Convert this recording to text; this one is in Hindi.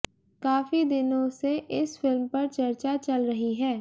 काफी दिनों से इस फिल्म पर चर्चा चल रही है